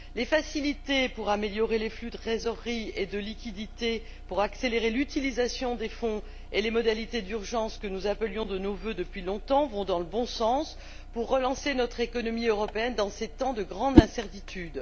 Les facilités pour améliorer les flux de trésorerie et de liquidités, pour accélérer l'utilisation des fonds et les modalités d'urgence, que nous appelions de nos vœux depuis longtemps, vont dans le bon sens pour relancer notre économie européenne dans ces temps de grande incertitude.